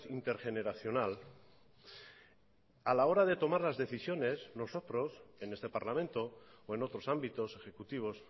intergeneracional a la hora de tomar las decisiones nosotros en este parlamento o en otros ámbitos ejecutivos